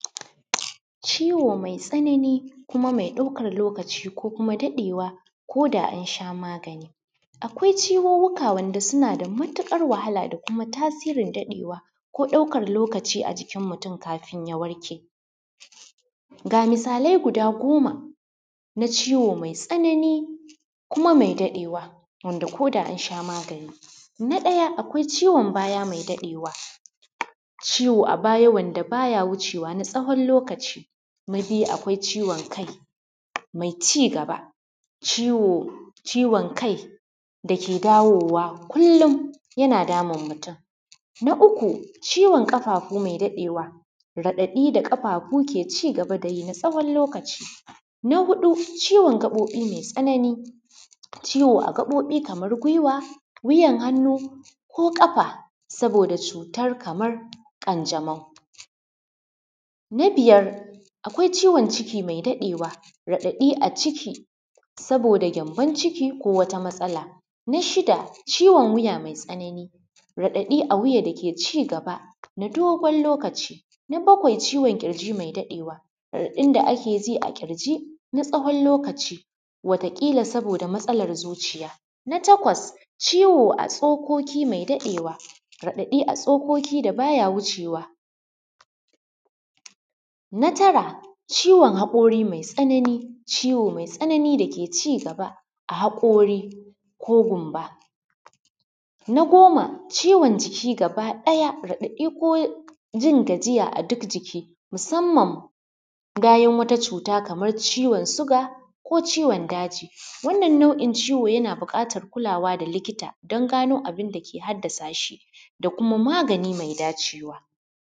Ciwo mai tsanani kuma mai ɗaukan lokaci ko kuma daɗewa ko da an sha magani, akwai ciwuwwuka wanda suna da matuƙar wahala da kuma tasirin daɗewa ko ɗaukar lokaci a jikin mutum kafin ya warke, ga misalai guda goma na ciwo mai tsanani kuma mai daɗewa wanda koda ana shan magani. Na ɗaya akwai ciwon baya mai daɗewa, ciwo a baya wanda baya wucewa na tsawon lokaci, na biyu akwai ciwon kai mai cigaba, ciwon kai dake dawowa kullum yana damun mutum, na uku ciwon ƙafafu mai daɗewa raɗaɗi da ƙafafu ke cigaba da yi na tsawon lokaci, na huɗu ciwon gaɓoɓi mai tsanani, ciwo a gaɓoɓi kamar gwiwa wiyar hannu ko ƙafa saboda cutar kamar ƙanjamau. Na biyar akwai ciwon ciki mai daɗewa raɗaɗi a ciki saboda gyamban ciki ko wata matsala; na shida ciwon wiya mai tsanani raɗaɗi a kafa dake cigaba na dogon lokaci, na bakwai ciwon ƙirji mai daɗewa raɗaɗin da ake ji a ƙirji na tsawon lokaci wataƙila saboda matsalar zuciya, na takwas ciwo a tsokoki ya ɗaɗewa, raɗaɗi a tsokoki da baya wucewa. Na tara ciwon haƙori mai tsanani, ciwo mai tsanani da ke cigaba a haƙori ko gumba, na goma ciwon jiki gaba daya raɗaɗi ko jin gajiya a duk jiki musamman bayan wata cuta kaman ciwon suga ko ciwon daji wannan nau’in ciwo yana buƙatar kulawa da likita dan gano abun da ke haddasa shi da kuma magani mai dacewa.